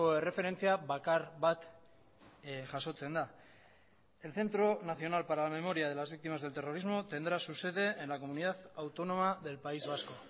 erreferentzia bakar bat jasotzen da el centro nacional para la memoria de las víctimas del terrorismo tendrá su sede en la comunidad autónoma del país vasco